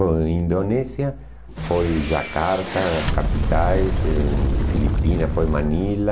Bom, Indonésia foi Jakarta, capitais, em Filipinas foi Manila,